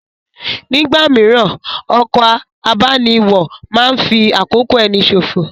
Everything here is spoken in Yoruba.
Nígbà mìíràn, ọkọ̀ abániwọ̀ máa ń fi àkókò ẹni ṣòfò